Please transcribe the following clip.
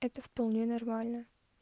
это вполне нормально